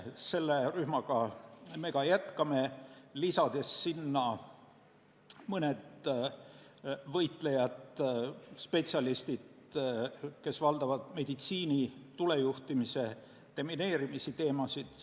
Sellega me ka jätkame, lisades sinna mõned võitlejad, spetsialistid, kes valdavad meditsiini, tulejuhtimist ja demineerimist.